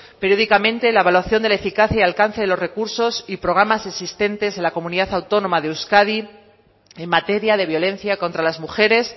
periódicamente la evaluación de la eficacia y alcance de los recursos y programas existentes en la comunidad autónoma de euskadi en materia de violencia contra las mujeres